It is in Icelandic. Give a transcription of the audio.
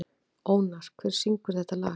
Ónar, hver syngur þetta lag?